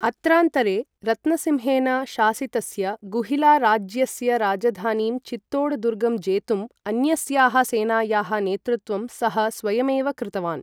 अत्रान्तरे, रत्नसिंहेन शासितस्य गुहिलाराज्यस्य राजधानीं चित्तोड् दुर्गं जेतुम् अन्यस्याः सेनायाः नेतृत्वं सः स्वयमेव कृतवान्।